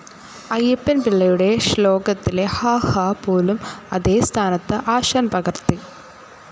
അയ്യപ്പൻ പിള്ളയുടെശ്ലോകത്തിലെ ഹാ, ഹാ പോലും അതേ സ്ഥാനത്ത് ആശാൻ പകർത്തി.